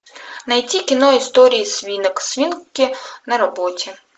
найти кино истории свинок свинки на работе